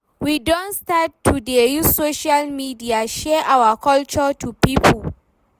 We don start to dey use social media share our culture to pipo.